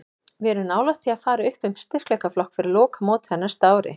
Við erum nálægt því að fara upp um styrkleikaflokk fyrir lokamótið á næsta ári.